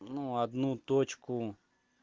ну одну точку